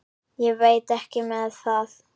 Ég veit ekki með það.